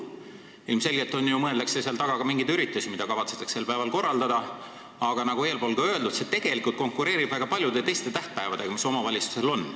Ilmselgelt mõeldakse seal taga ju ka mingeid üritusi, mida kavatsetakse sel päeval korraldada, aga nagu eespool öeldud, see tegelikult konkureerib väga paljude teiste tähtpäevadega, mis omavalitsustel on.